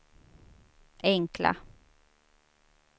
enkla